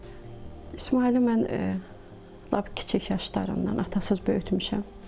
İsmayılı mən lap kiçik yaşlarından atasız böyütmüşəm.